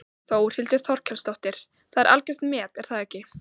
Þórhildur Þorkelsdóttir: Það er algjört met er það ekki?